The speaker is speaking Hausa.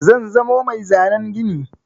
Zan zamo mai zanen gini.